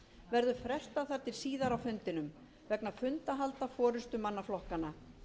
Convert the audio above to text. verður frestað þar til síðar á fundinum vegna fundahalda forustumanna flokkanna